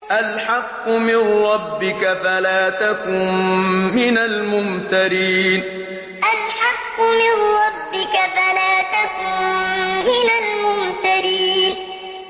الْحَقُّ مِن رَّبِّكَ فَلَا تَكُن مِّنَ الْمُمْتَرِينَ الْحَقُّ مِن رَّبِّكَ فَلَا تَكُن مِّنَ الْمُمْتَرِينَ